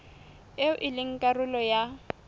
eo e leng karolo ya